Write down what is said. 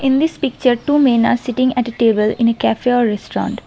in this picture two men are sitting at a table in a cafe or restaurant.